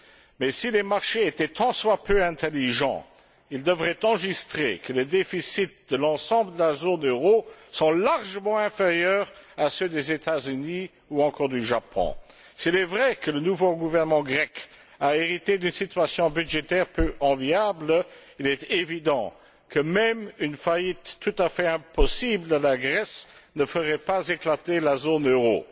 Mais si les marchés étaient tant soit peu intelligents, ils devraient enregistrer que les déficits de l'ensemble de la zone euro sont largement inférieurs à ceux des États Unis ou encore du Japon. S'il est vrai que le nouveau gouvernement grec a hérité d'une situation budgétaire peu enviable, il est évident que même une faillite tout à fait impossible de la Grèce ne ferait pas éclater la zone euro.